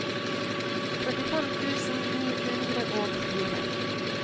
førtifem tusen ni hundre og fire